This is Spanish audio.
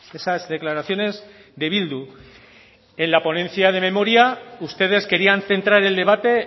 esas declaraciones de bildu en la ponencia de memoria ustedes querían centrar el debate